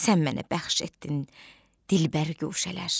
Sən mənə bəxş etdin dilbər guşələr.